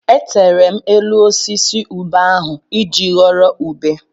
Etere m elu osisi ube ahụ iji ghọrọ ube.